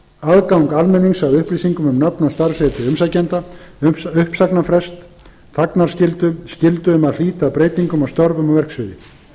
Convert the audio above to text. aðgang almennings að upplýsingum um nöfn og starfsheiti umsækjenda uppsagnarfrest þagnarskyldu skyldu um að hlíta breytingum á störfum og verksviði